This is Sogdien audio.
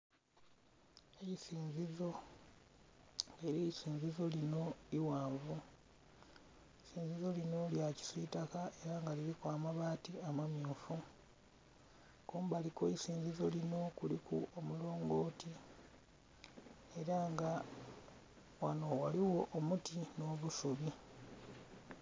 Eisinzizo era eisinzizo linho ighanvu eisinzizo linho lya kisitaka era nga liliku amabati amamyufu, kumbali kweisinzizo linho kuliku omulongoti era nga ghanho ghaligho omuti nho busubi.